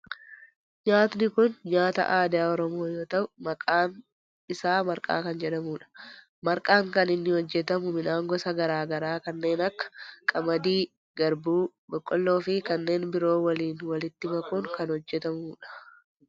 Nyaatni kun nyaata aadaa oromoo yoo ta'u maqaan isaa marqaa kan jedhamudha. marqaan kan inni hojjetamu midhaan gosa garaa garaa kanneen akka qamadii, garbuu, boqqoolloo fi kanneen biroo waliin walitti makuun kan hojjetamudha.